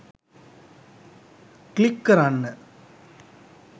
click කරන්න